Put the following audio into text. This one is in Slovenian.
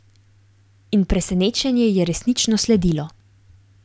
In presenečenje je resnično sledilo.